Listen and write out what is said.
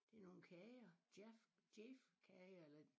Det nogle kager Jaff Jayf kager eller